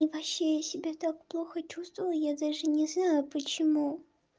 и вообще я себе так плохо чувствовала я даже не знаю почему